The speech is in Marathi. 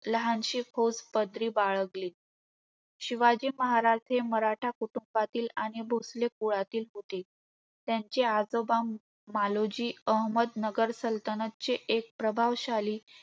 लहानशी फौज पदरी बाळगली. शिवाजी महाराज हे मराठी कुटुंबातील आणि भोसले कुळातील होते. त्यांचे आजोबा मालोजी अहमदनगर सलतनतचे एक प्रभावशाली